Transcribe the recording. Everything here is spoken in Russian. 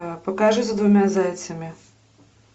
покажи за двумя зайцами